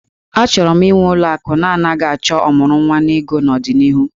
Achọrọ m ịnwe ụlọ akụ na-anaghị achọ ọmụrụnwa n'ego n'ọdịnihu